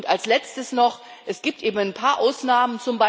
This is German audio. Als Letztes noch Es gibt ein paar Ausnahmen.